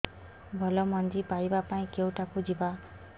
ଭଲ ମଞ୍ଜି ପାଇବା ପାଇଁ କେଉଁଠାକୁ ଯିବା